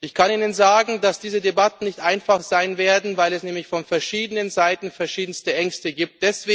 Ich kann Ihnen sagen, dass diese Debatten nicht einfach sein werden, weil es nämlich von verschiedenen Seiten verschiedenste Ängste gibt.